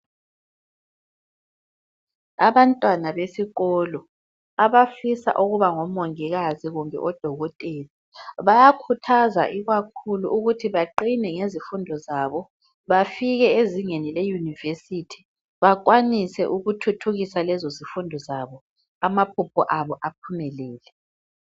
Abantwana besikolo abafisa ukuba ngomongikazi loba odokotela bayakhuthazwa ikakhulu ukuthi baqine ngezifundo zabo bafike ezingeni leyunivesithi bakwanise ukuthithukisa lezozifundo zabo amaphupho abo aphumelele.